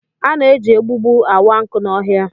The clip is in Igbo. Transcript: A na-eji egbugbu awa nkụ n'ọhịa